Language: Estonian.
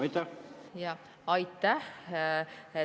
Aitäh!